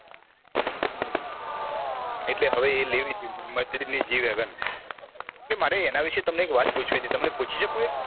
એટલે હવે એ લેવી તી mercedes ની g wagon એટલે મારે તમને એના વિષે એક વાત પૂછવી તી પૂછી શકું એક